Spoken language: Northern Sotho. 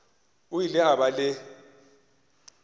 o ile a ba le